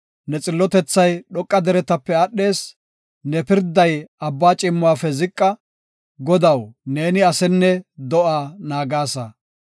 Ne xillotethay dhoqa deretape aadhees; ne pirday abba ciimmuwafe ziqa; Godaw, neeni asenne do7a naagasa.